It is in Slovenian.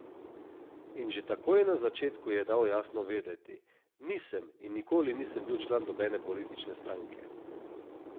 In že takoj na začetku je dal jasno vedeti: "Nisem in nikoli nisem bil član nobene politične stranke.